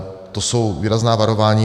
To jsou výrazná varování.